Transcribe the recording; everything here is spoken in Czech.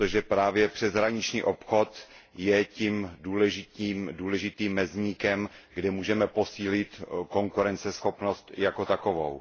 Právě přeshraniční obchod je totiž tím důležitým mezníkem, kde můžeme posílit konkurenceschopnost jako takovou.